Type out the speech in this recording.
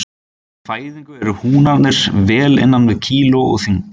Við fæðingu eru húnarnir vel innan við kíló að þyngd.